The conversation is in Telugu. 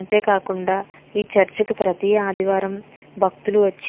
అంతే కాకుండా ఈ చెర్చ్ కి ప్రతి ఆదివారం బక్తుల్లు వచ్చి --